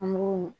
An b'o